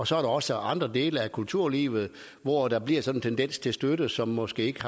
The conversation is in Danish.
så er der også andre dele af kulturlivet hvor der bliver sådan en tendens til støtte som måske ikke